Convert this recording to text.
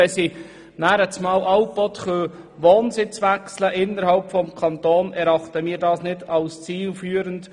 Können sie ständig innerhalb des Kantons den Wohnsitz wechseln, erachten wir das nicht als zielführend.